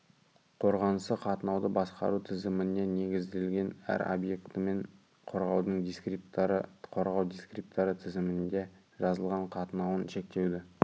қорғанысы қатынауды басқару тізіміне негізделген әр объектімен қорғаудың дискрипторы қорғау дискрипторы тізімінде жазылған қатынауын шектеуді